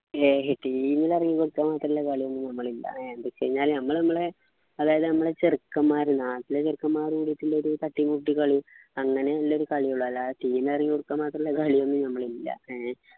അയ് team പറയുന്ന അത്ര മാത്രമുള്ള കളിയൊന്നും നമ്മളില്ല എന്ത് വെച്ച് കഴിഞ്ഞാല് നമ്മള് നമ്മളെ അതുപോലെ നമ്മള് ചെറുക്കന്മാര് നാട്ടിലെ ചെറുക്കന്മാര് കൂടീട്ടുള ഒരു തട്ടീം മുട്ട് കളി അങ്ങനെ ഉള്ളൊരു കളിയെ ഉള്ളു അല്ലാണ്ട് team കൊടുക്കാൻ മാത്രമുള്ള കളിയൊന്നും നമ്മളില്ല